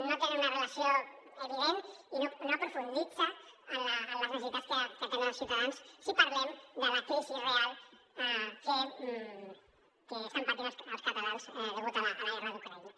no tenen una relació evident i no aprofundeix en les necessitats que tenen els ciutadans si parlem de la crisi real que estan patint els catalans degut a la guerra d’ucraïna